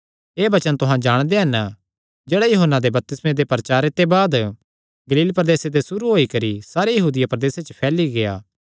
एह़ वचन तुहां जाणदे हन जेह्ड़ा यूहन्ना दे बपतिस्मे दे प्रचारे ते बाद गलील प्रदेसे ते सुरू होई करी सारे यहूदिया प्रदेसे च फैली गेआ